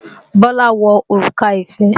Bọ́lá wọ òrùka ìfẹ́